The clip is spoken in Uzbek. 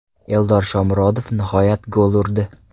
Eldor Shomurodov nihoyat gol urdi.